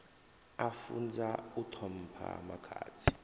a funzwa u ṱhompha makhadzi